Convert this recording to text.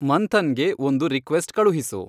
ಮಂಥನ್ಗೆ ಒಂದು ರಿಕ್ವೆಸ್ಟ್ ಕಳುಹಿಸು